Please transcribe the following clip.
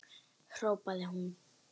hrópaði hún.